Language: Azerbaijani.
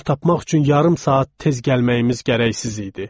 Yer tapmaq üçün yarım saat tez gəlməyimiz gərəksiz idi.